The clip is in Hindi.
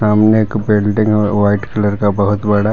सामने एक बिल्डिंग और वाइट कलर का बहुत बड़ा--